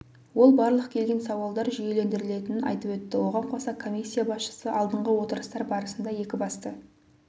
ол барлық келген сауалдар жүйелендірілетінін айтып өтті оған қоса комиссия басшысы алдыңғы отырыстар барысында екі басты